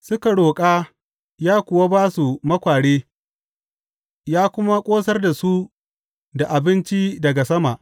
Suka roƙa, ya kuwa ba su makware ya kuma ƙosar da su da abinci daga sama.